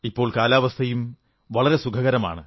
ഇപ്പോൾ കാലാവസ്ഥയും വളരെ സുഖകരമാണ്